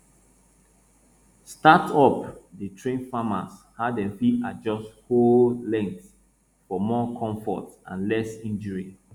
startup dey train farmers how dem fit adjust hoe length for more comfort and less injury